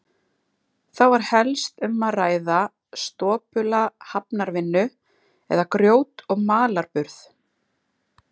Þá var helst um að ræða stopula hafnarvinnu, eða grjót- og malarburð.